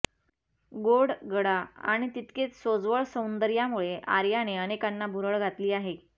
गोड गळा आणि तितकेच सोज्वळ सौंदर्यामुळे आर्याने अनेकांना भुरळ घातली आहे